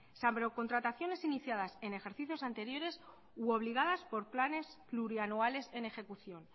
salvo contrataciones iniciadas en ejercicios anteriores u obligadas por planes plurianuales en ejecución